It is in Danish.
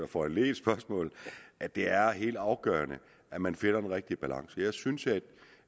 foranledigede spørgsmålet at det er helt afgørende at man finder den rigtige balance jeg synes at